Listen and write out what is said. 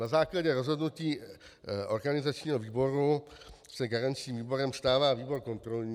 Na základě rozhodnutí organizačního výboru se garančním výborem stává výbor kontrolní.